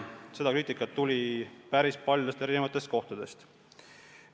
Seda kriitikat tuli päris paljudest kohtadest.